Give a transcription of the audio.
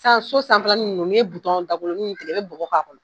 San so sanfɛla ni ninnu ni ye bitɔn dabolonin tigɛ i be bɔgɔ k'a kɔnɔ